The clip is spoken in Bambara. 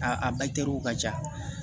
A a a ka ca